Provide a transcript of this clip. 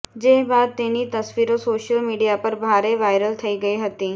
જે બાદ તેની તસવીરો સોશિયલ મીડિયા પર ભારે વાયરલ થઈ ગઈ હતી